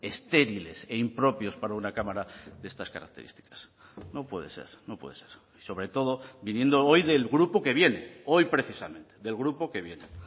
estériles e impropios para una cámara de estas características no puede ser no puede ser sobre todo viniendo hoy del grupo que viene hoy precisamente del grupo que viene